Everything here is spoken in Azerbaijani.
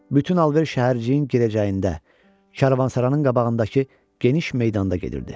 Bütün alver şəhərciyin girəcəyində Kərvansarayın qabağındakı geniş meydanda gedirdi.